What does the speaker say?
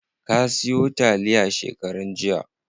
Ka siyo taliya shekaran jiya?